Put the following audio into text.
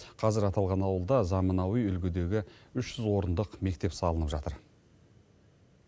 қазір аталған ауылда заманауи үлгідегі үш жүз орындық мектеп салынып жатыр